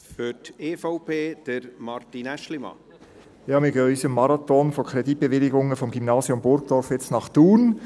Wir gehen jetzt in unserem Marathon von Kreditbewilligungen vom Gymnasium Burgdorf nach Thun.